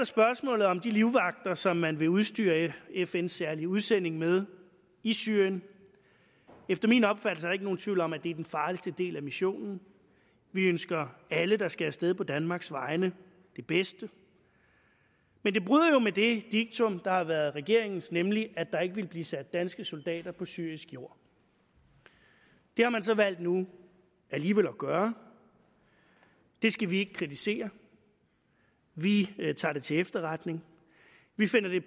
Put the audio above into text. spørgsmålet om de livvagter som man vil udstyre fns særlige udsending med i syrien efter min opfattelse er der ikke nogen tvivl om at det er den farligste del af missionen vi ønsker alle der skal af sted på danmarks vegne det bedste men det bryder jo med det diktum der har været regeringens nemlig at der ikke ville blive sat danske soldater på syrisk jord det har man så valgt nu alligevel at gøre det skal vi ikke kritisere vi tager det til efterretning vi finder det